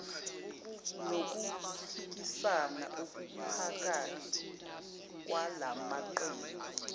nokuphikisana okuphakathi kwalamaqembu